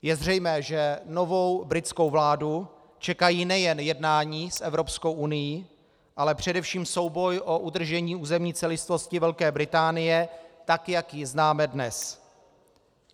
Je zřejmé, že novou britskou vládu čekají nejen jednání s Evropskou unií, ale především souboj o udržení územní celistvosti Velké Británie, tak jak ji známe dnes.